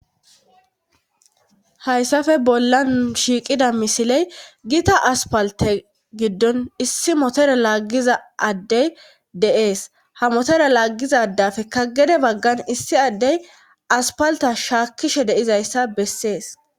hayssafe bollan shiiqida misiley giita aspalte giddon issi motore laaggiza addey deees ha motore laaggiza dafekka gede baggan issi addey aspalta shaakkishe deizayssa bessees